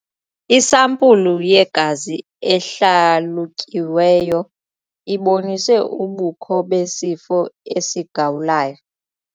Isampulu yegazi ehlalutyiweyo ibonise ubukho besifo sikagawulayo.